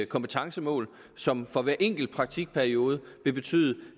kompetencemål som for hver enkelt praktikperiode vil betyde